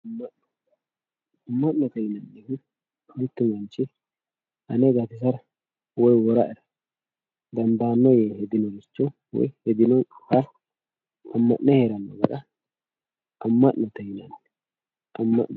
Amano amanote yinemohu mittu manchi ane gatisaera woy woraera dandano ye hedinoricho woy hedinoha amane herano gara amanoye yinanni amano